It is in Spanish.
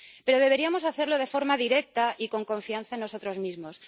Pero deberíamos hacerlo de forma directa y con confianza en nosotros mismos.